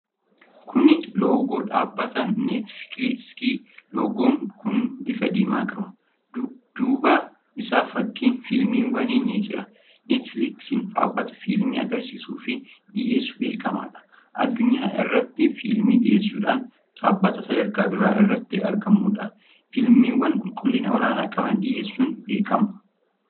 Kuni loogoo dhaabbata Neetfiliiksiiti. Loogoon kun bifa diimaa qaba. Dudduuba isaa fakkiin fiilmiwwanii ni jiru. Neetfiliiksiin dhaabbata fiilmii agarsiisuufi dhiyeessuun beekamuudha. Addunyaa irratti fiilmii dhiyyeessudhaan dhaabbata sadarkaa duraa irratti argamuudha. Fiilmiwwan qulqullina olaanaa qaban dhiyeessuun beekama.